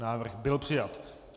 Návrh byl přijat.